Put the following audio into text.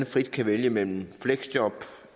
frit kan vælge mellem fleksjob